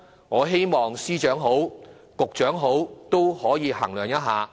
我希望司長或局長可以衡量一下。